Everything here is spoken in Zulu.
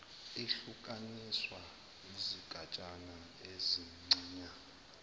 ihlukaniswa izigatshana ezincanyana